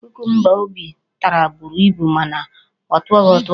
kukumba Obi tara buru ibu mana ọ tọghị ụtọ.